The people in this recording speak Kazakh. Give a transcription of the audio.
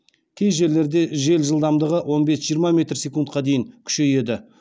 кей жерлерде жел жылдамдығы он бес жиырма метр секундқа дейін күшейеді